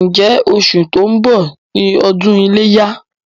Ǹjẹ́ oṣù tó ń bọ̀ ni ọdún iléyá?